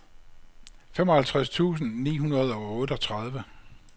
femoghalvtreds tusind ni hundrede og otteogtredive